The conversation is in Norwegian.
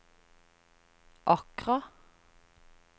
Accra